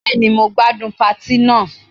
Bẹ́ẹ̀ni, mo gbádùn patí náà.